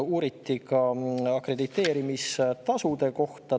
Uuriti ka akrediteerimise tasude kohta.